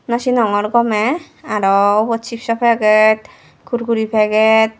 no sinogor gomey aro ubot cipso packet kurkure packet.